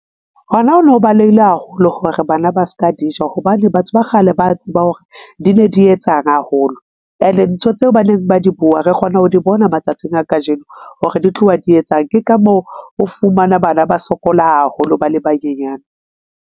Hona ho no balehile haholo hore bana ba se ka di ja, hobane batho ba kgale ba tseba hore di ne di etsang haholo, ene ntho tseo ba neng ba di bua re kgona ho di bona matsatsing a kajeno hore di tloha di etsang. Ke ka moo o fumana bana ba sokola haholo, ba le banyenyane.